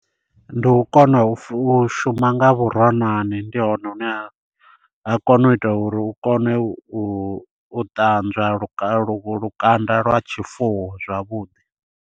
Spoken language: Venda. Ndi u kona u shuma nga vhuroṅwane ndi hone hune ha ha kona u ita uri u kone u ṱanzwa lu lu lukanda lwa tshifuwo zwavhuḓi.